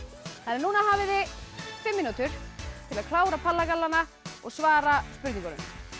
núna hafið þið fimm mínútur til að klára palla gallana og svara spurningunum